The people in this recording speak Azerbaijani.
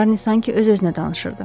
Şarni sanki öz-özünə danışırdı.